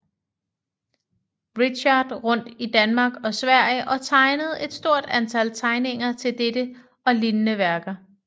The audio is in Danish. Richardt rundt i Danmark og Sverige og tegnede et stort antal tegninger til dette og lignende værker